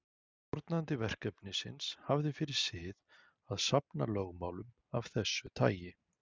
Stjórnandi verkefnisins hafði fyrir sið að safna lögmálum af þessu tagi.